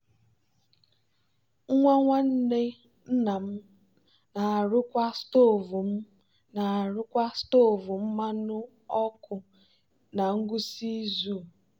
nwa nwanne nna m na-arụkwa stovu m na-arụkwa stovu mmanụ ọkụ na ngwụsị izu.